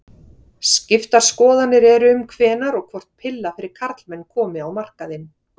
Skiptar skoðanir eru um hvenær og hvort pilla fyrir karlmenn komi á markaðinn.